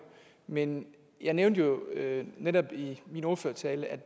men jeg nævnte jo netop i min ordførertale at